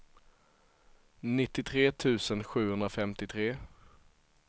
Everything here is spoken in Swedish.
nittiotre tusen sjuhundrafemtiotre